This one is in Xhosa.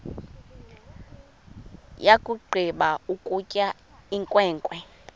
yakugqiba ukutya inkwenkwe